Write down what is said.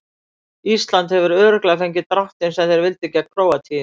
Ísland hefur örugglega fengið dráttinn sem þeir vildu gegn Króatíu.